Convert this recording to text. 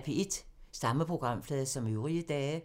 Samme programflade som øvrige dage